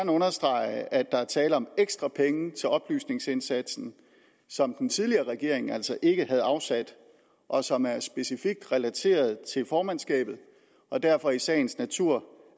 understrege at der er tale om ekstra penge til oplysningsindsatsen som den tidligere regering altså ikke havde afsat og som er specifikt relateret til formandskabet og derfor i sagens natur